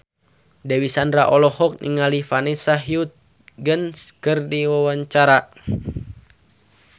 Dewi Sandra olohok ningali Vanessa Hudgens keur diwawancara